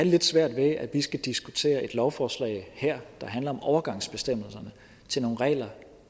lidt svært med at vi skal diskutere et lovforslag her der handler om overgangsbestemmelserne til nogle regler